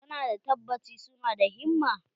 Ka na da tabacci su na da himma?